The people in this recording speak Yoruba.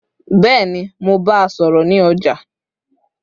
Bẹ́ẹ̀ni, mo bá a sọ̀rọ̀ ní ọjà